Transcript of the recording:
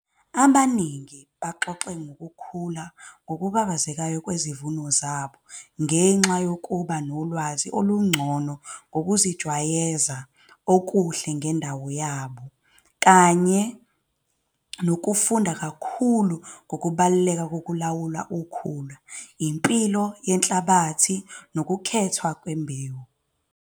Abaningi baxoxe ngokukhula ngokubabazekayo kwezivuno zabo ngenxa yokuba nolwazi olungcono ngokuzejwayeza okuhle ngendawo yabo kanye nokufunda kakhulu ngokubaluleka kokulawula ukhula, impilo yenhlabathi nokukhethwa kwembewu.